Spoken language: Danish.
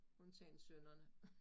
Undtagen sønnerne